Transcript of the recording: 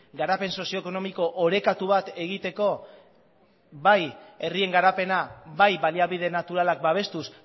garapen sozioekonomiko orekatu bat egiteko bai herrien garapena bai baliabide naturalak babestuz